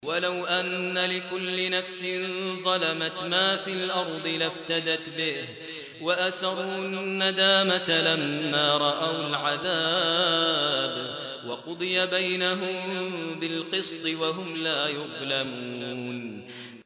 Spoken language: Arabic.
وَلَوْ أَنَّ لِكُلِّ نَفْسٍ ظَلَمَتْ مَا فِي الْأَرْضِ لَافْتَدَتْ بِهِ ۗ وَأَسَرُّوا النَّدَامَةَ لَمَّا رَأَوُا الْعَذَابَ ۖ وَقُضِيَ بَيْنَهُم بِالْقِسْطِ ۚ وَهُمْ لَا يُظْلَمُونَ